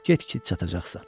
Get ki, çatacaqsan.